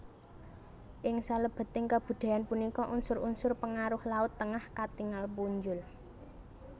Ing salebeting kabudayan punika unsur unsur pengaruh laut Tengah katingal punjul